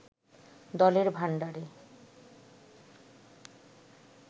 দলের ভাণ্ডারে